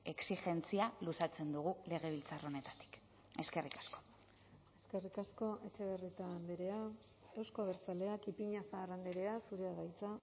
exijentzia luzatzen dugu legebiltzar honetatik eskerrik asko eskerrik asko etxebarrieta andrea euzko abertzaleak ipiñazar andrea zurea da hitza